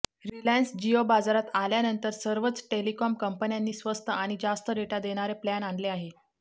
Reliance Jio बाजारात आल्यानंतर सर्वच टेलीकॉम कंपन्यांनी स्वस्त आणि जास्त डेटा देणारे प्लॅन आणले आहे